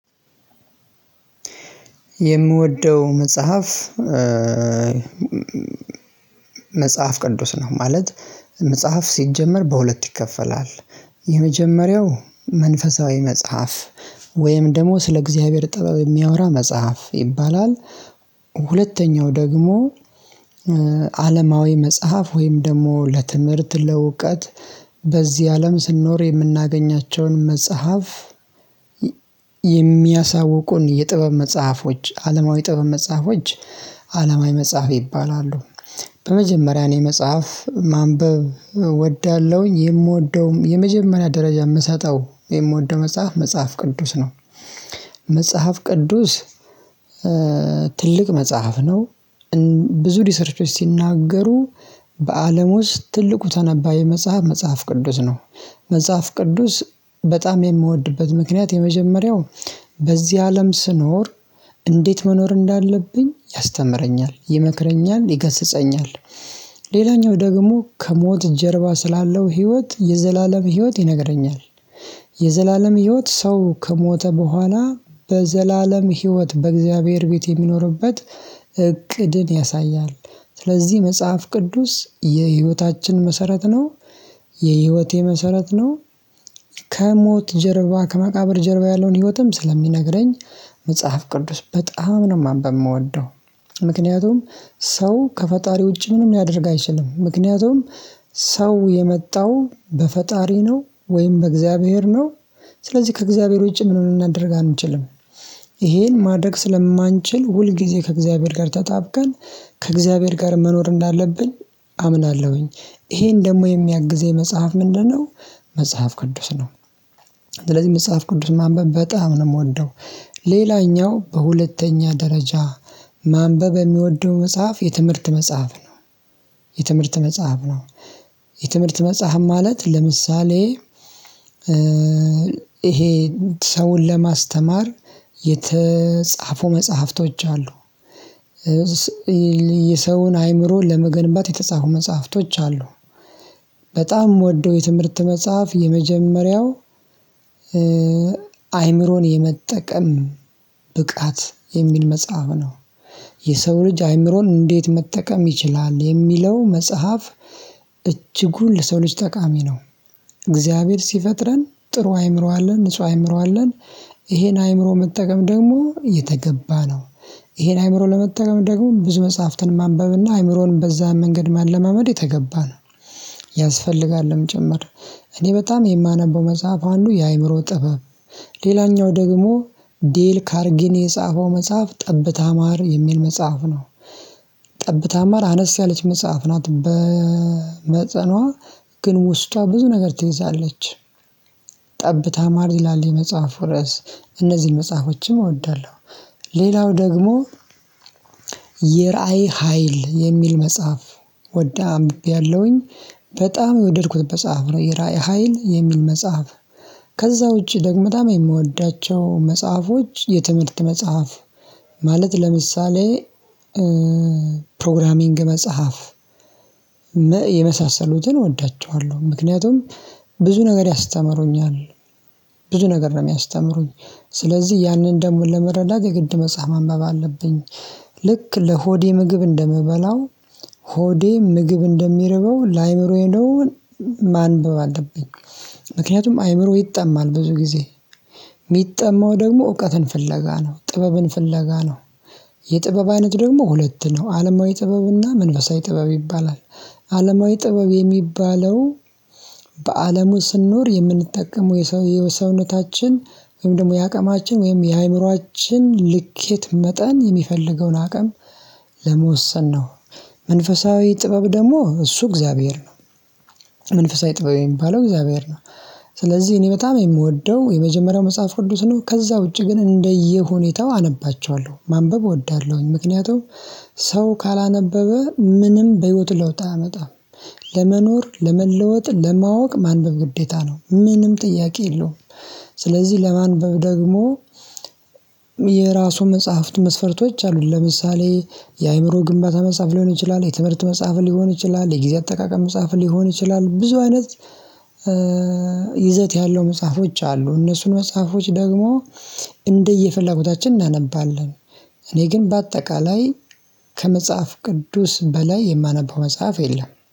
የምወደው መጽሐፍ መጽሐፍ ቅዱስ ነው። ማለት መጽሐፍ ሲጀመር በሁለት ይከፈላል የመጀመሪያው መንፈሳዊ መጽሐፍ ወይም ደግሞ ስለ እግዚአብሔር ጥበብ የሚያወራ መጽሐፍ ይባላል። ሁለተኛው ደግሞ አለማዊ መጽሐፍ ወይም ደግሞ ለትምህርት ለውቀት በዚህ አለም ስንኖር የምናገኛቸውን መጽሐፍ የሚያሳውቁን የጥበብ መጽሐፎች አለማዊ ጥበብ መጽሐፎች አለማዊ መጽሐፍ ይባላሉ። በመጀመሪያ እኔ መጽሐፍ ማንበብ እወዳለሁኝ የምወደውም የመጀመሪያ ደረጃ የምሰጠው የምወደው መጽሐፍ መጽሐፍ ቅዱስ ነው። መጽሐፍ ቅዱስ ትልቅ መጽሐፍ ነው። ብዙ ሪሰርቾች ሲናገሩ በአለም ውስጥ ትልቁ ተነባቢ መጽሐፍ መጽሐፍ ቅዱስ ነው። መጽሐፍ ቅዱስ በጣም የምወድበት ምክንያት የመጀመሪያው በዚህ አለም ስኖር እንዴት መኖር እንዳለብኝ ያስተምረኛል ይመክረኛል ይገስጸኛል። ደግሞ ከሞት ጀርባ ስላለው ህይወት የዘላለም ህይወት ይነግረኛል። የዘላለም ህይወት ሰው ከሞተ በኋላ በዘላለም ህይወት በእግዚአብሔር ቤት የሚኖርበት ያሳያል። ስለዚህ መጽሐፍ ቅዱስ የህይወታችን መሰረት ነው። የህይወቴ መሰረት ነው። ከሞት ጀርባ ከመቃብር ጀርባ ያለውን ህይወትም ስለሚነግረኝ መጽሐፍ ቅዱስ በጣም ነው ማንበብ የምወደው። ምክንያቱም ሰው ከፈጣሪ ውጪ ምንም ማድረግ አይችልም ምክንያቱም ሰው የመጣው በፈጣሪ ነው ወይም በእግዚአብሔር ነው ስለዚህ ከእግዚአብሔር ውጪ ምን ልናደርግ አንችልም። ይሄን ማድረግ ስለማንችል ሁል ጊዜ ከእግዚአብሔር ጋር ተጣብቀን ከእግዚአብሔር ጋር መኖር እንዳለብን አምናለሁኝ። ይሄን ደግሞ የሚያግዘኝ መጽሐፍ ምንድነው? መጽሐፍ ቅዱስ ነው። ስለዚህ መጽሐፍ ቅዱስ ማንበብ በጣም ነው የምወደው። ሌላኛው በሁለተኛ ደረጃ ማንበብ የሚወደው መጽሐፍ የትምህርት መጽሐፍ ነው። የትምህርት መጽሐፍ ነው የትምህርት መጽሐፍ ማለት ለምሳሌ ይሄ ሰውን ለማስተማር የተጻፉ መጽሐፍቶች አሉ። የሰውን አይምሮ ለመገንባት የተጻፉ መጽሐፍቶች አሉ። በጣም ምወደው የትምህርት መጽሐፍ የመጀመሪያው አይምሮን የመጠቀም ብቃት የሚል መጽሐፍ ነው። የሰው ልጅ አይምሮን እንዴት መጠቀም ይችላል የሚለው መጽሐፍ። እጅጉን ለሰው ልጅ ጠቃሚ ነው። እግዚአብሔር ሲፈጥረን ጥሩ አይምሮ አለን ንጹህ አእምሮ አለን። ይሄን አእምሮ መጠቀም ደግሞ የተገባ ነው። ይሄን አእምሮ ለመጠቀም ደግሞ ብዙ መጽሐፍትን ማንበብና አይምሮንም በዛ መንገድ ማለማመድ የተገባ ነው። ያስፈልጋልም ጭምር እኔ በጣም የማነበው መጽሐፍ አንዱ የአእምሮ ጥበብ ሌላኛው ደግሞ ዴል ካርጊኔ የጻፈው መጽሐፍ ጠብታ ማር የሚል መጽሐፍ ነው። ጠብታ ማር አነስ ያለች መጽሐፍ ናት በመጠንዋ ግን ውስጧ ብዙ ነገር ትይዛለች። ጠብታ ማር ይላል መጽሐፉ ርዕስ እነዚህ መጽሐፎችም እወዳለሁ። ሌላው ደግሞ የራዕይ ሀይል የሚል መጽሐፍ ወዳ አንብቤያለሁኝ በጣም የወደድኩት መጽሐፍ ነው የራዕይ ሀይል የሚል መጽሐፍ። ከዛ ውጪ ደግሞ በጣም የምወዳቸው መጽሐፎች የትምህርት መጽሐፍ ማለት ለምሳሌ ፕሮግራሚንግ መጽሐፍ የመሳሰሉትን እወዳቸዋለሁ ምክንያቱም ብዙ ነገር ያስተምሩኛል። ብዙ ነገር ነው የሚያስተምሩኝ ስለዚህ ያንን ደግሞ ለመረዳት የግድ መጽሐፍ ማንበብ አለብኝ። ልክ ለሆዴ ምግብ እንደምበላው ሆዴ ምግብ እንደሚርበው ለአእምሮ ደግሞ ማንበብ አለብኝ። ምክንያቱም አይምሮ ይጠማል ብዙ ጊዜ የሚጠማው ደግሞ እውቀትን ፍለጋ ነው ጥበብን ፍለጋ ነው። የጥበብ አይነት ደግሞ ሁለት ነው አለማዊ ጥበብና መንፈሳዊ ጥበብ ይባላል። አለማዊ ጥበብ የሚባለው በአለሙ ስንኖር የምንጠቀመው የሰው የሰውነታችን ወይም ደግሞ የአቅማችን ወይም የአእምሮአችን ልኬት መጠን የሚፈልገውን አቅም ለመወሰን ነው። መንፈሳዊ ጥበብ ደግሞ እሱ እግዚአብሔር ነው። መንፈሳዊ ጥበብ የሚባለው እግዚአብሔር ነው። ስለዚህ እኔ በጣም የምወደው የመጀመሪያ መጽሐፍ ቅዱስ ነው ከዛ ውጪ ግን እንደየሁኔታው አነባቸዋለሁ ማንበብ እወዳለሁኝ። ምክንያቱም ሰው ካላነበበ ምንም በህይወት ለውጥ አያመጣም። ለመኖር ለመለወጥ ለማወቅ ማንበብ ግዴታ ነው ምንም ጥያቄ የለውም። ስለዚህ ለማንበብ ደግሞ የራሱን መጽሐፍት መስፈርቶች አሉን ለምሳሌ የአእምሮ ግንባታ መጽሐፍ ሊሆን ይችላል የትምህርት መጽሐፍ ሊሆን ይችላል የጊዜ አጠቃቀም መጽሐፍ ሊሆን ይችላል ብዙ አይነት ይዘት ያለው መጽሐፎች አሉ እነሱን መጽሐፎች ደግሞ እንደየፍላጎታችን እናነባለን። እኔ ግን በአጠቃላይ ከመጽሐፍ ቅዱስ በላይ የማነበው መጽሐፍ የለም